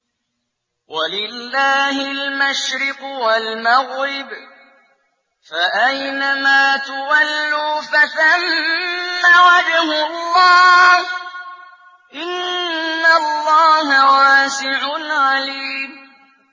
وَلِلَّهِ الْمَشْرِقُ وَالْمَغْرِبُ ۚ فَأَيْنَمَا تُوَلُّوا فَثَمَّ وَجْهُ اللَّهِ ۚ إِنَّ اللَّهَ وَاسِعٌ عَلِيمٌ